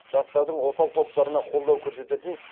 жастардың осал топтарына қолдау көрсететін